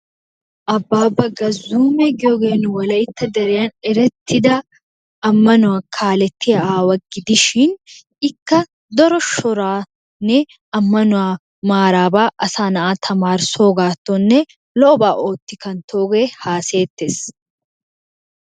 Abbabba Gazuma giyooge nu wolaytta deriyaan erettida ammanuwa kaalletiyaa aawa gidishin ikka daro shoranne, ammanuwaa maaraba asa naa'a tamarissogattonne lo''oba ootti kanttooge haassayeettes.